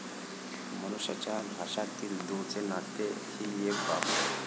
मनुष्याच्या भाषामधील दूरचे नाते हि एक बाब.